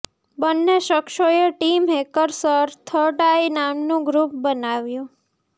બંને શખ્સોએ team hackers third eye નામનું ગ્રુપ બનાવ્યું છે